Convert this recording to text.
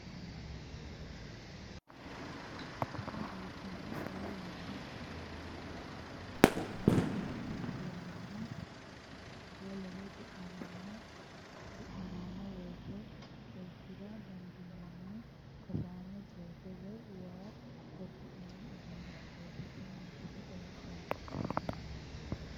Tini biiffanno xaa yannara horoonsirama hanaffino waanna woleno du'nammano worre xorshira dandiinanni kasaame jooke woy waa xorshi'nanni uduunnichooti tini misile xawissannohu.